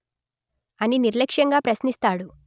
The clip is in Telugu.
అని నిర్లక్ష్యంగా ప్రశ్నిస్తాడు